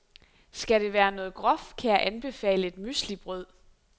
Skal det være noget groft, kan jeg anbefale et müeslibrød.